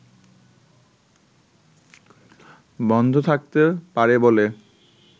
বন্ধ থাকতে পারে বলে